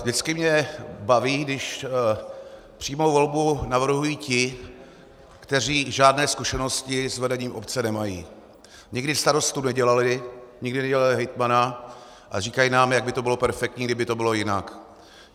Vždycky mě baví, když přímou volbu navrhují ti, kteří žádné zkušenosti s vedením obce nemají, nikdy starostu nedělali, nikdy nedělali hejtmana a říkají nám, jak by to bylo perfektní, kdyby to bylo jinak.